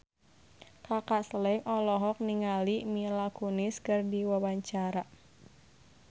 Kaka Slank olohok ningali Mila Kunis keur diwawancara